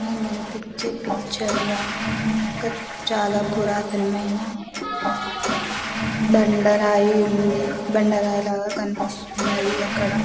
ఈ పిక్చర్ పిక్చర్లో ఇక్కడ చాల పురాణతమైన బండ రాయి ఉంది బాండ రాయిలాగా కనిపిస్తుంది అధి అక్కడ --